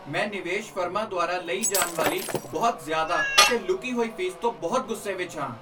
ਮੈਂ ਨਿਵੇਸ਼ ਫਰਮਾਂ ਦੁਆਰਾ ਲਈ ਜਾਨ ਵਾਲੀ ਬਹੁਤ ਜ਼ਿਆਦਾ ਅਤੇ ਲੁਕੀ ਹੋਈ ਫੀਸ ਤੋਂ ਬਹੁਤ ਗੁੱਸੇ ਵਿੱਚ ਹਾਂ।